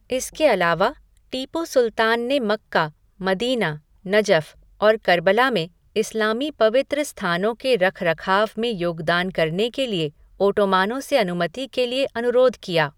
इसके अलावा, टीपू सुल्तान ने मक्का, मदीना, नजफ़ और कर्बला में इस्लामी पवित्र स्थानों के रखरखाव में योगदान करने के लिए ओटोमानों से अनुमति के लिए अनुरोध किया।